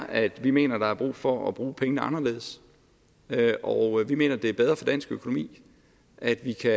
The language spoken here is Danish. at vi mener at der er brug for at bruge pengene anderledes vi mener det er bedre for dansk økonomi at vi kan